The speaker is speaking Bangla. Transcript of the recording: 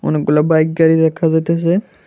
অনেকগুলো বাইক গাড়ি দেখা যাইতাসে।